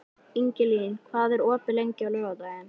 Ingilín, hvað er opið lengi á laugardaginn?